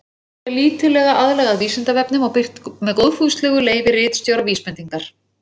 Svarið er lítillega aðlagað Vísindavefnum og birt með góðfúslegu leyfi ritstjóra Vísbendingar.